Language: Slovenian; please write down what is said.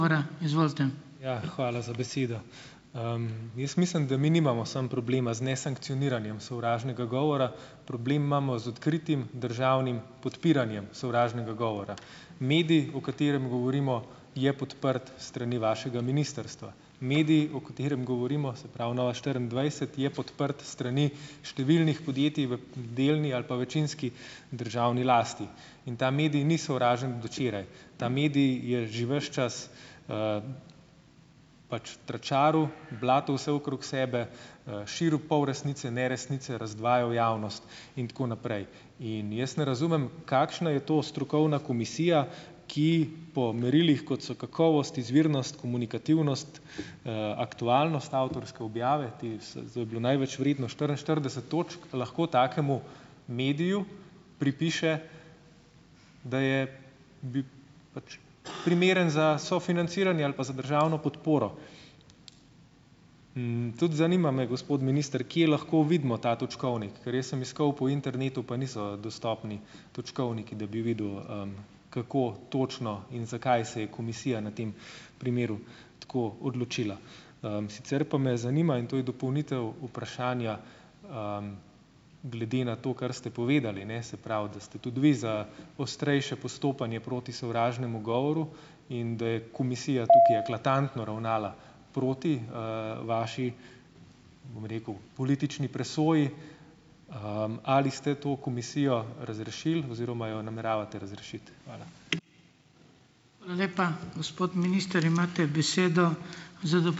Ja, hvala za besedo. Jaz mislim, da mi nimamo samo problema z nesankcioniranjem sovražnega govora, problem imamo z odkritim državnim podpiranjem sovražnega govora. Medij, o katerem govorimo, je podprt s strani vašega ministrstva. Medij, o katerem govorimo, se pravi, Nova štiriindvajset, je podprt s strani številnih podjetij v delni ali pa večinski državni lasti in ta medij ni sovražen od včeraj, ta medij je že ves časv pač tračaril, blatil vse okrog sebe, širil polresnice, neresnice, razdvajal javnost in tako naprej. In jaz ne razumem, kakšna je to strokovna komisija, ki po merilih, kot so kakovost, izvirnost, komunikativnost, aktualnost avtorske objave, te to je bilo največ vredno, štiriinštirideset točk, lahko takemu mediju pripiše, da je pač primeren za sofinanciranje ali pa za državno podporo. Tudi zanima me, gospod minister, kje lahko vidimo ta točkovnik, ker jaz sem iskal po internetu, pa niso dostopni točkovniki, da bi videl, kako točno in zakaj se je komisija na tem primeru tako odločila. Sicer pa me zanima, in to je dopolnitev vprašanja, glede na to, kar ste povedali, ne, se pravi, da ste tudi vi za ostrejše postopanje proti sovražnemu govoru, in da je komisija tukaj eklatantno ravnala proti, vaši, bom rekel, politični presoji. Ali ste to komisijo razrešili oziroma jo nameravate razrešiti? Hvala.